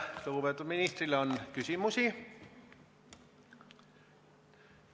Kas lugupeetud ministrile on küsimusi?